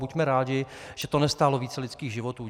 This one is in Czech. Buďme rádi, že to nestálo více lidských životů.